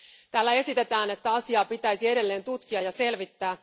Täällä esitetään, että asiaa pitäisi edelleen tutkia ja selvittää.